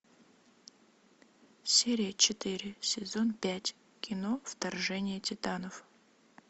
серия четыре сезон пять кино вторжение титанов